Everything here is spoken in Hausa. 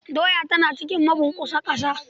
Doya tana cikin mabunkusa ƙasa.